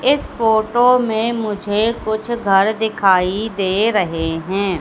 इस फोटो में मुझे कुछ घर दिखाई दे रहे हैं।